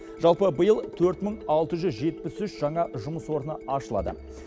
жалпы биыл төрт мың алты жүз жетпіс үш жаңа жұмыс орны ашылады